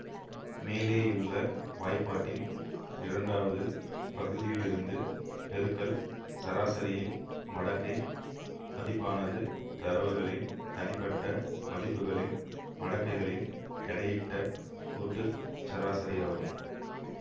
மேலேயுள்ள வாய்ப்பாட்டின் இரண்டாவது பகுதிலியிருந்து பெருக்கல் சராசரியின் மடக்கை மதிப்பானது தரவுகளின் தனிப்பட்ட மதிப்புகளின் மடக்கைகளின் எடையிட்ட கூட்டு சராசரியாகும்